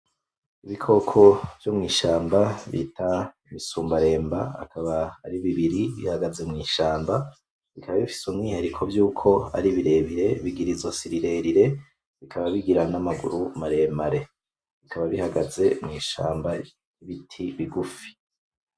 Ibikoko vyo mw'ishamba bita ibisumbaremba akaba ari bibiri bihagaze mw'ishamba , bikaba bifise umwiharuko vyuko ari birebire , bigira izosi rirerire bikaba bigira n'amaguru maremare , bikaba bihagaze mw'ishamba impande y'ibiti bigufi .